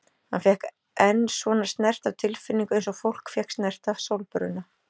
Hann fékk enn svona snert af tilfinningu eins og fólk fékk snert af sólbruna.